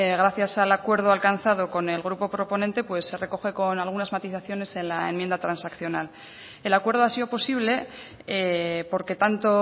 gracias al acuerdo alcanzado con el grupo proponente se recoge con algunas matizaciones en la enmienda transaccional el acuerdo ha sido posible porque tanto